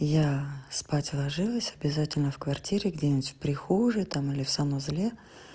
я спать ложилась обязательно в квартире где-нибудь в прихожей там или в санузле